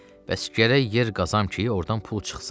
Bəs gərək yer qazam ki, ordan pul çıxsın.